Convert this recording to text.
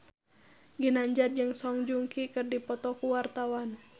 Ginanjar jeung Song Joong Ki keur dipoto ku wartawan